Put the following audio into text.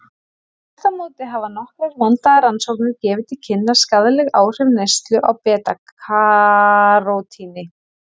Þvert á móti hafa nokkrar vandaðar rannsóknir gefið til kynna skaðleg áhrif neyslu á beta-karótíni.